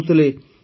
ସେ କହୁଥିଲେ